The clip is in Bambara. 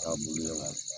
Taabolo la